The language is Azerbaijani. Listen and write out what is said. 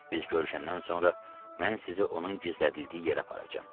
Biz görüşəndən sonra mən sizi onun gizlədildiyi yerə aparacam.